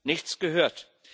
Nichts gehört.